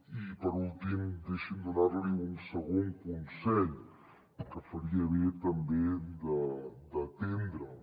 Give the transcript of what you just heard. i per últim deixi’m donar li un segon consell que faria bé també d’atendre’l